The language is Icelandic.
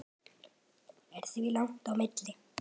Er því langt á milli.